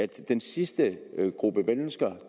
den sidste gruppe mennesker